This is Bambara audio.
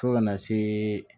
Fo kana se